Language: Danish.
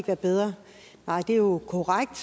været bedre nej det er jo korrekt